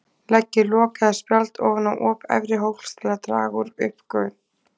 Leggið lok eða spjald ofan á op efri hólks til að draga úr uppgufun.